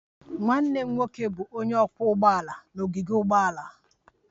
Nwanne m nwoke bụ onye ọkwọ ụgbọala n'ogige ụgbọala